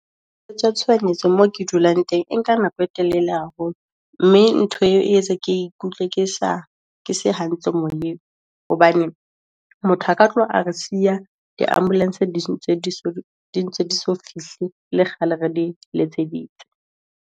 Tshohanyetso moo ke dulang teng, e nka nako e telele haholo, mme ntho e etsa ke ikutlwa ke se hantle moyeng, hobane motho aka tlo re siya, di ambulance dintse di so fihle e le kgale re di letseditse.